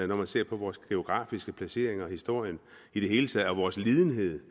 når man ser på vores geografiske placering og historie og i det hele taget vores lidenhed